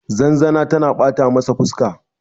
zanzana tana bata masa fuska